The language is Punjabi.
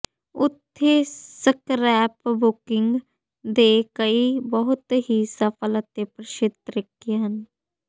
ਉੱਥੇ ਸਕ੍ਰੈਪਬੁਕਿੰਗ ਦੇ ਕਈ ਬਹੁਤ ਹੀ ਸਫਲ ਅਤੇ ਪ੍ਰਸਿੱਧ ਤਰੀਕੇ ਹਨ